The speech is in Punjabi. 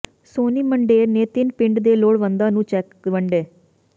ਸੋਨੀ ਮੰਡੇਰ ਨੇ ਤਿੰਨ ਪਿੰਡਾਂ ਦੇ ਲੋੜਵੰਦਾਂ ਨੂੰ ਚੈਕ ਵੰਡੇ